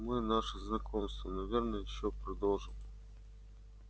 мы наше знакомство наверное ещё продолжим